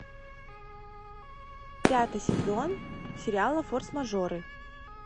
пятый сезон сериала форс мажоры